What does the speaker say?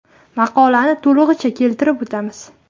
Maqolani to‘lig‘icha keltirib o‘tamiz.